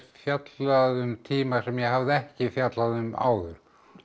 fjallað um tíma sem ég hafði ekki fjallað um áður